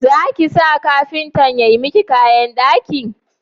Za ka sa kafintan ya yi maka kayan daki.